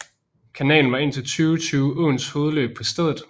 Kanalen var indtil 2020 åens hovedløb på stedet